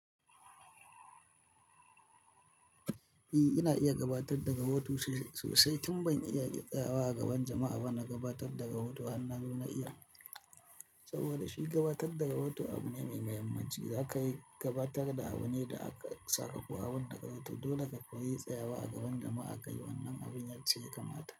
Eh, ina iya gabatar da rahoto sosai, tun ban iya yi tsayawa a gaban jama'a ba na gabatar da rahoto. Han nazo na iya, saboda shi gabatar da rahoto abu ne mai muhimmanci. Za ka yi gabatar da abune da aka saka, ko abunda ka rubuta, dole ka koyi tsayawa a gaban jama'a ka yi. Wannan abun yacce kamata.